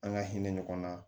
An ka hinɛ ɲɔgɔn na